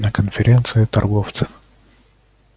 на конференции торговцев